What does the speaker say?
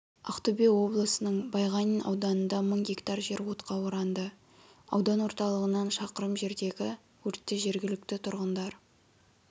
ақтөбе облысының байғанин ауданында мың гектар жер отқа оранды аудан орталығынан шақырым жердегі өртті жергілікті тұрғындар